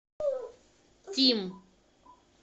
тим